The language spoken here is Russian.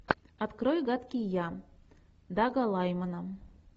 открой гадкий я дага лаймана